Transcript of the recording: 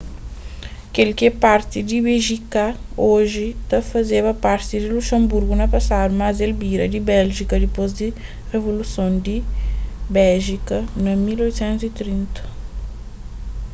kel ki é parti di béjika oji ta fazeba parti di luxenburgu na pasadu mas el bira di béljika dipôs di rivoluson di béjika na 1830